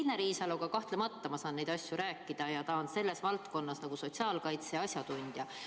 Signe Riisaloga kahtlemata ma saan neid asju rääkida ja ta on sotsiaalkaitse valdkonnas asjatundja.